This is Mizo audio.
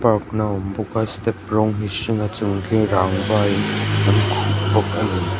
awm bawk a step rawng hi a hring a chung khi rangva in a khuh bawk a ni.